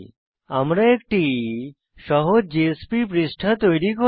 আমরা একটি সহজ জেএসপি পৃষ্ঠা তৈরী করব